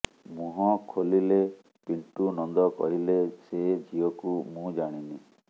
ମୁହଁ ଖୋଲିଲେ ପିଣ୍ଟୁ ନନ୍ଦ କହିଲେ ସେ ଝିଅକୁ ମୁଁ ଜାଣିନି